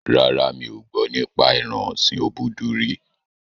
Rárá, mi ò gbọ́ nípa ẹran ọ̀sin obudu rí